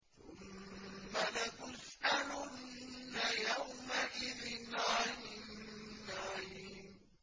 ثُمَّ لَتُسْأَلُنَّ يَوْمَئِذٍ عَنِ النَّعِيمِ